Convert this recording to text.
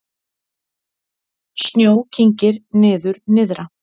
Snjó kyngir niður nyrðra